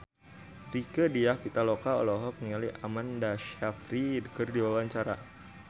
Rieke Diah Pitaloka olohok ningali Amanda Sayfried keur diwawancara